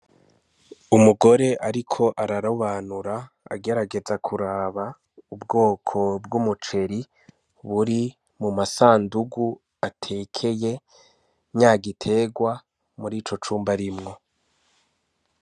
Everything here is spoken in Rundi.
Umugore ariko ararobanura agerageza kuraba ubwoko bw'umuceri uri mu masandugu atekeye nya giterwa muri ico cumba arimwo.